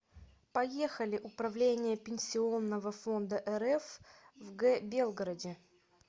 поехали управление пенсионного фонда рф в г белгороде